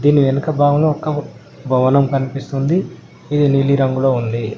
దీని వెనుక భాగం ఒక్కబ్ భవనం కనిపిస్తుంది ఇది నీలి రంగులో ఉంది.